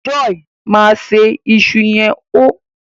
joy Mo ṣe iṣu yen hó.